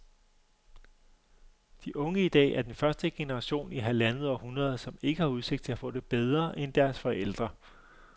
De unge i dag er den første generation i halvandet århundrede, som ikke har udsigt til at få det bedre end deres forældre.